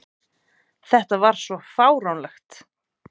Þetta var svo fáránlegt!